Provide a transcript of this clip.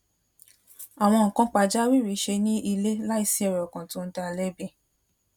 àwọn nnkan pàjáwìrì ṣe ní ilé láìsí èrí ọkàn tó ń dá a lébi